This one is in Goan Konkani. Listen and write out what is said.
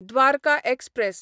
द्वारका एक्सप्रॅस